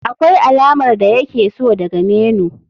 Akwai alamar da yake so daga menu.